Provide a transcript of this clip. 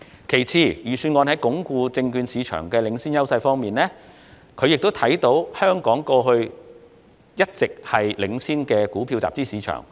其次，關於鞏固證券市場的領先優勢方面，香港多年來一直是全球領先的股票集資市場。